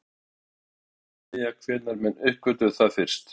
Hins vegar er erfitt að segja hvenær menn uppgötvuðu það fyrst.